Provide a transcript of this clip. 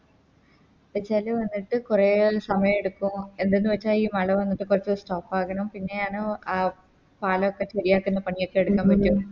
ചേല് വന്നിട്ട് കൊറേ സമയെടുക്കും എന്തെന്ന് വെച്ച ഈ മള വന്നിട്ട് കൊർച്ച് Stop ആകണം പിന്നെ ആണ് പാലൊക്കെ ശെരിയാക്കുന്ന പണിയൊക്കെ എടുക്കാൻ പറ്റു